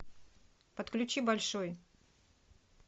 подключи большой